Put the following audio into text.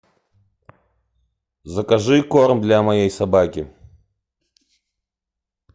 закажи корм для моей собаки